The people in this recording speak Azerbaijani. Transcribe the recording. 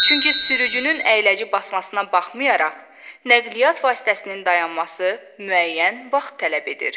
Çünki sürücünün əyləci basmasına baxmayaraq, nəqliyyat vasitəsinin dayanması müəyyən vaxt tələb edir.